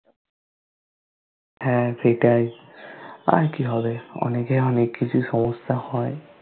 হ্যা সেটাই আর কি হবে অনেকের অনেক কিছু সমস্যা হয়